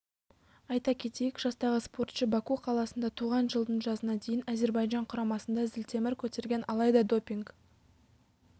айта кетейік жастағы спортшы баку қаласында туған жылдың жазына дейін әзербайжан құрамасында зілтемір көтерген алайда допинг